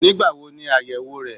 Nígbáwo ni àyèwò re?